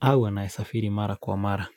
au anaesafiri mara kwa mara.